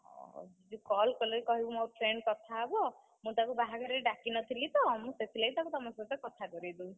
ହଉ, ଯଦି call କଲେ କହିବୁ ମୋ friend କଥା ହବ, ମୁଁ ତାକୁ ବାହାଘରରେ ଡାକିନଥିଲି ତ ମୁଁ ସେଥିଲାଗି ତାକୁ ତମ ସହିତ କଥା କରେଇଦେବି।